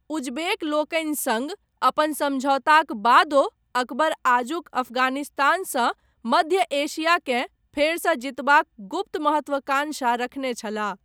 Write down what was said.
उजबेक लोकनि सङ्ग अपन समझौताक बादो अकबर आजुक अफगानिस्तानसँ मध्य एशियाकेँ फेरसँ जीतबाक गुप्त महत्वकांक्षा रखने छलाह।